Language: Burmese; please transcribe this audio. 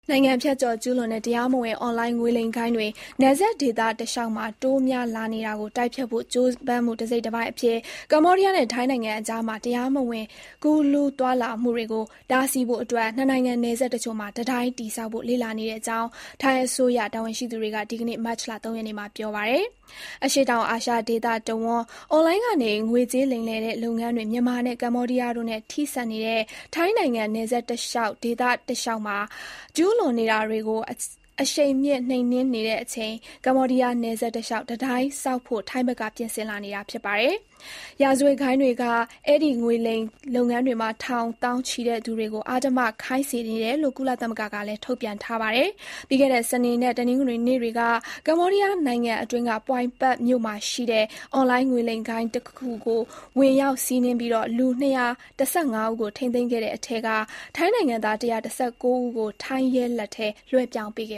နိုင်ငံဖြတ်ကျော်ကျူးလွန်တဲ့ တရားမဝင်အွန်လိုင်းငွေလိမ်ဂိုဏ်းတွေ နယ်စပ်ဒေသတလျှောက်မှာ တိုးများလာနေတာကို တိုက်ဖျက်ဖို့ကြိုးပမ်းမှု တစိတ်တပိုင်းအဖြစ် ကမ္ဘောဒီးယားနဲ့ ထိုင်းနိုင်ငံကြား တရားမဝင် ကူးလူးသွားလာမှုတွေကို တားဆီးဖို့ နှစ်နိုင်ငံနယ်စပ်တချို့မှာ တံတိုင်းတည်ဆောက်ဖို့ လေ့လာနေကြောင်း ထိုင်းအစိုးရ တာဝန်ရှိသူတွေက ဒီကနေ့ မတ်လ (၃) ရက်နေ့မှာ ပြောပါတယ်။ အရှေ့တောင်အာရှဒေသတဝှန်း အွန်လိုင်းကနေ ငွေကြေးလိမ်လည်တဲ့လုပ်ငန်းတွေ မြန်မာနဲ့ ကမ္ဘောဒီးယားတို့နဲ့ ထိစပ်နေတဲ့ ထိုင်းနိုင်ငံ နယ်စပ်ဒေသတလျှောက်မှာ ကျူးလွန်နေတာတွေကို အရှိန်မြှင့် နှိမ်နင်းနေချိန် ကမ္ဘောဒီးယားနယ်စပ်တလျှောက် တံတိုင်းဆောက်ဖို့ ထိုင်းဘက်က ပြင်ဆင်လာနေတာပါ။ ရာဇဝတ်ဂိုဏ်းတွေက အဲဒီ ငွေလိမ်လုပ်ငန်းတွေမှာ ထောင် သောင်းချီတဲ့သူ တွေကို အဓမ္မခိုင်းစေနေတယ်လို့ ကုလသမဂ္ဂကလည်း ထုတ်ပြန်ထားပါတယ်။ ပြီးခဲ့တဲ့ စနေနဲ့ တနင်္ဂနွေနေ့တွေက ကမ္ဘောဒီးယားနိုင်ငံအတွင်းက Poipet မြို့မှာရှိတဲ့ အွန်လိုင်းငွေလိမ် ဂိုဏ်းတခုကို ဝင်ရောက်စီးနင်းပြီး လူ (၂၁၅) ဦးကို ထိန်းသိမ်းခဲ့တဲ့အထဲက ထိုင်းနိုင်ငံသား (၁၁၉) ဦးကို ထိုင်းရဲလက်ထဲ လွှဲပြောင်းပေးခ